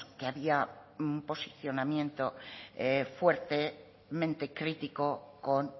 que había un posicionamiento fuertemente crítico con